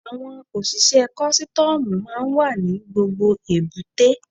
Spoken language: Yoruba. Àwọn òṣìṣẹ́ kọ́sítọ́mù máa ń wà ní gbogbo èbúté.